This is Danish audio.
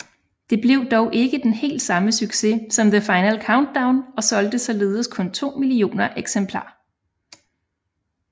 Det blev dog ikke den helt samme succes som The Final Countdown og solgte således kun 2 millioner eksemplar